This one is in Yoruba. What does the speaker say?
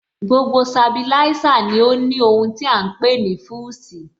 Gbogbo Sabilísà ní ó ní ohun tí à ń pè ní Fúsìì